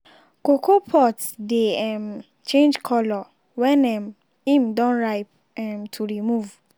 cocoa pods dey um change colour wen um im don ripe um to remove.